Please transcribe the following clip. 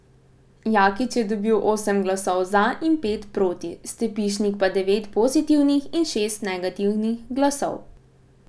Jakič je dobil osem glasov za in pet proti, Stepišnik pa devet pozitivnih in šest negativnih glasov.